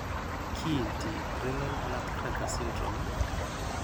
Kiinti renal nutcracker syndrome?